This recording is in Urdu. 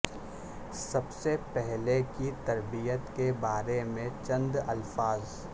سب سے پہلے کی تربیت کے بارے میں چند الفاظ